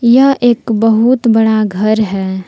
यह एक बहुत बड़ा घर है।